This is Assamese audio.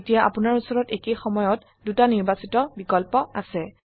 এতিয়া আপোনাৰ উচৰত একেই সময়ত দুটা নিৰ্বাচিত বিকল্প আছে